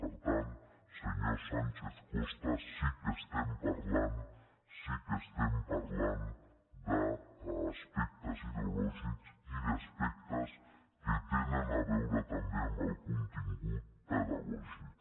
per tant senyor sánchez costa sí que estem parlant d’aspectes ideològics i d’aspectes que tenen a veure també amb el contingut pedagògic